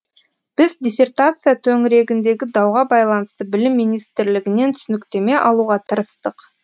біз диссертация төңірегіндегі дауға байланысты білім министрлігінен түсініктеме алуға тырыстық